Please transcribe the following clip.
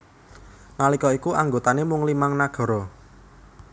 Nalika iku anggotané mung limang nagara